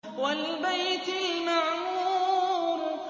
وَالْبَيْتِ الْمَعْمُورِ